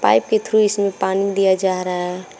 Pipe के through इसमें पानी दिया जा रहा है।